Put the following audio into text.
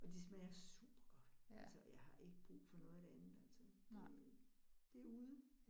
Og de smager supergodt, altså og jeg har ikke brug for noget af det andet altså. Det det ude